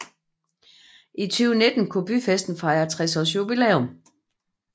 I 2019 kunne byfesten fejre 60 års jubilæum